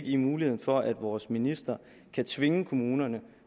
i muligheden for at vores minister kan tvinge kommunerne